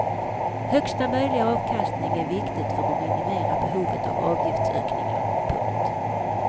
Högsta möjliga avkastning är viktigt för att minimera behovet av avgiftsökningar. punkt